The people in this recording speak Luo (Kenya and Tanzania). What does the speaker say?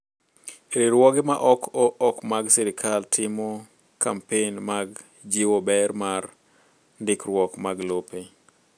Riwruoge ma ok mag sirkal timo kampen mag jiwo ber mar ndikruok mag lope.